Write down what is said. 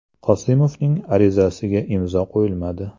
Qosimovning arizasiga imzo qo‘yilmadi.